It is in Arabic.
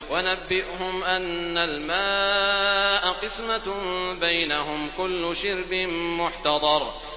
وَنَبِّئْهُمْ أَنَّ الْمَاءَ قِسْمَةٌ بَيْنَهُمْ ۖ كُلُّ شِرْبٍ مُّحْتَضَرٌ